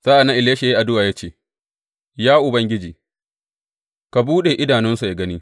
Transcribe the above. Sa’an nan Elisha ya yi addu’a ya ce, Ya Ubangiji, ka buɗe idanunsa yă gani!